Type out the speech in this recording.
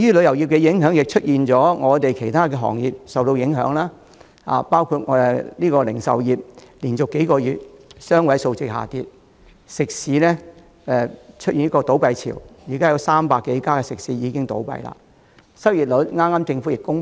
由於旅遊業不景，其他行業亦受影響，包括零售業連續多個月有雙位數字下跌，食肆出現倒閉潮，有300多間倒閉。